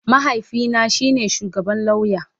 Mahaifina shi ne shugaban lauya